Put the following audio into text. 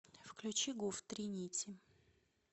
включи гуф три нити